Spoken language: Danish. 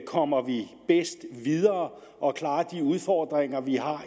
kommer vi bedst videre og klarer de udfordringer vi har